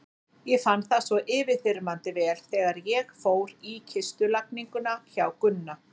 Ég fann það svo yfirþyrmandi vel þegar ég fór í kistulagninguna hjá Gunna.